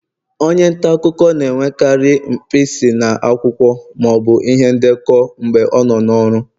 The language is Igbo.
onye nta akụkọ na-enwekarị mpisi na akwụkwọ ma ọ bụ ihe ndekọ mgbe ọ nọ n'ọrụ